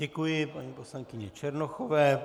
Děkuji paní poslankyni Černochové.